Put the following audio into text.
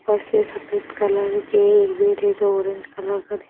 बस ये सफेद कलर के जो ऑरेंज कलर का दिखा --